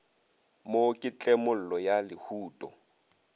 mo ke tlemollo ya lehuto